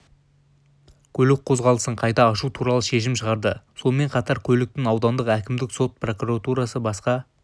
көлік қозғалысын қайта ашу туралы шешім шығарды сонымен қатар көліктің аудандық әкімдік сот прокуратура басқа